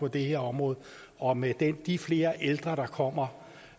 det her område og med de flere ældre der kommer